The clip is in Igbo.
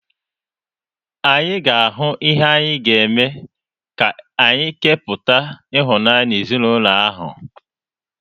Anyị ga-ahụ ihe anyị ga-eme ka anyị kepụta ịhụnanya n'ezinụlọ ahụ.